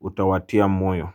utawatia moyo.